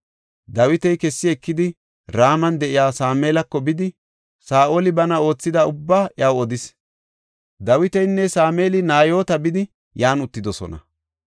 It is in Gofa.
Dawiti kessi ekidi Raman de7iya Sameelako bidi Saa7oli bana oothida ubbaa iyaw odis. Dawitinne Sameeli Nayoota bidi yan uttidosona.